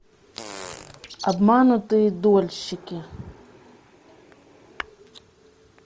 обманутые дольщики